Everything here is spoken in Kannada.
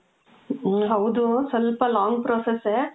ಮ್ಮ್, ಹೌದು. ಸ್ವಲ್ಪ long process ಸೇ.